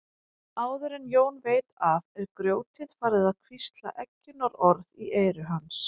Áður en Jón veit af er grjótið farið að hvísla eggjunarorð í eyru hans.